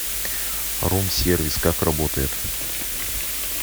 рум сервис как работает